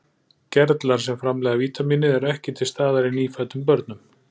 Gerlar sem framleiða vítamínið eru ekki til staðar í nýfæddum börnum.